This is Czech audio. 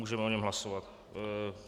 Můžeme o něm hlasovat.